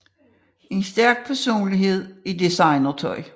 En stærk personlighed i designer tøj